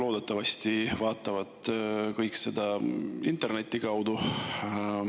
Loodetavasti vaatavad kõik seda interneti kaudu.